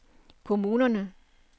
kommunerne